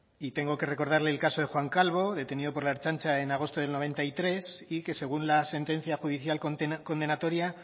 y tengo que recordarle el caso de juan calvo detenido por la ertzaintza en agosto del noventa y tres y que según la sentencia judicial condenatoria